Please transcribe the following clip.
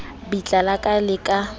bitla la ka le ka